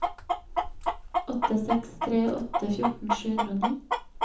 åtte seks tre åtte fjorten sju hundre og ni